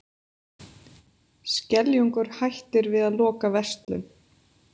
Skeljungur hættir við að loka verslun